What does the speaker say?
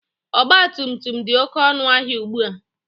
Ọgbatumtum dị oke ọnụ ahịa ugbua.